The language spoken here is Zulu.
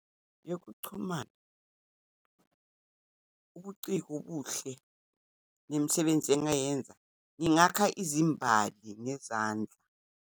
Yokuchumana, ubuciko obuhle, nemisebenzi engingayenza, ngingakha izimbali ngezandla.